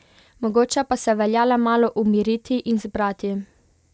Mogoče pa se velja le malo umiriti in zbrati.